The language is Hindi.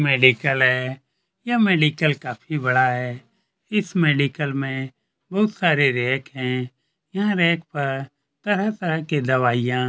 यह मेडिकल है यह मेडिकल काफी बड़ा है इस मेडिकल में बहुत सारे रैक है यहाँ रैक पर तरह - तरह की दवाईयां --